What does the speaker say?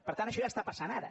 per tant això ja està passant ara